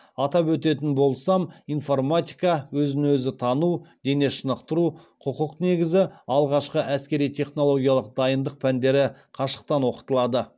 атап өтетін болсам информатика өзін өзі тану дене шынықтыру құқық негізі алғашқы әскери технологиялық дайындық пәндері қашықтан оқытылады